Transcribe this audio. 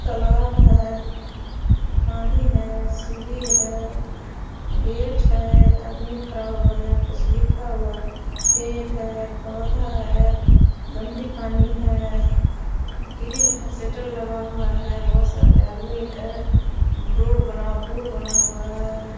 तालाब है पानी है सीढ़ी है गेट है आदमी खड़ा हुआ है कुछ लिखा हुआ है पेड़ है पौधा है गन्दी पानी है ग्रिल है शेटर लगा हुआ है बहुत सारे आदमी है रोड बना हुआ पुल बना हुआ है।